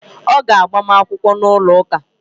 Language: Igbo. Ọ ga-agbam akwụkwọ n’ụlọ ụka